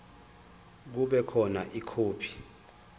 kube khona ikhophi